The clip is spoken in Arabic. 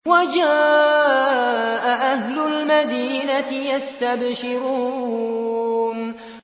وَجَاءَ أَهْلُ الْمَدِينَةِ يَسْتَبْشِرُونَ